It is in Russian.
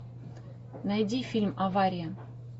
найди фильм авария